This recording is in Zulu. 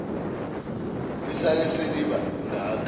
lisale seliba ngaka